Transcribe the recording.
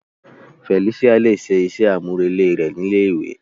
Felicia le ṣe iṣẹ amurele rẹ ni ilé ìwé.